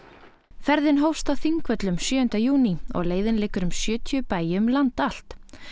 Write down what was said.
ferðin hófst á Þingvöllum sjöunda júní og leiðin liggur um sjötíu bæi um land allt